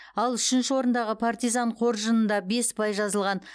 ал үшінші орындағы партизан қоржынында бес ұпай жазылған